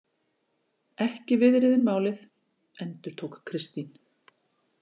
Ekki viðriðin málið, endurtók Kristín.